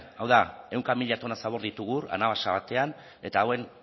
hau da ehunka mila tona zabor ditugu anabasa batean eta hauen